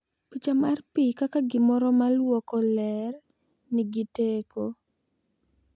Picha mar pi kaka gimoro ma lwoko ler nigi teko,